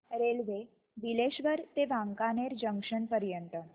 railway Bileshwar ते Wankaner junction पर्यंत